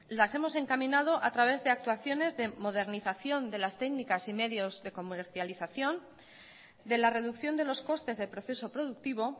las hemos encaminado a través de actuaciones de modernización de las técnicas y medios de comercialización de la reducción de los costes del proceso productivo